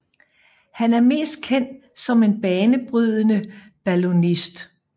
Han er mest kendt som en banebrydende ballonist